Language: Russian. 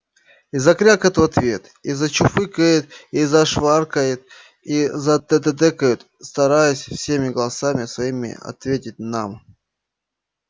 и закрякают в ответ и зачуфыкают и зашваркают и затэтэкают стараясь всеми голосами своими ответить нам